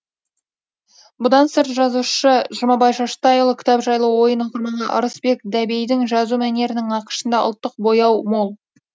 бұдан сырт жазушы жұмабай шаштайұлы кітап жайлы ойын оқырманға ырысбек дәбейдің жазу мәнерінің нақышында ұлттық бояу мол